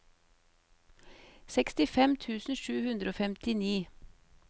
sekstifem tusen sju hundre og femtini